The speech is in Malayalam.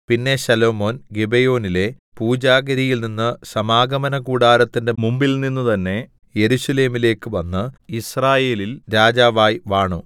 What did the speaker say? പിന്നെ ശലോമോൻ ഗിബെയോനിലെ പൂജാഗിരിയിൽനിന്ന് സമാഗമനകൂടാരത്തിന്റെ മുമ്പിൽനിന്നു തന്നേ യെരൂശലേമിലേക്കു വന്ന് യിസ്രായേലിൽ രാജാവായി വാണു